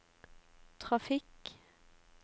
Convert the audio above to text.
trafikk